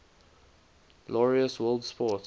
laureus world sports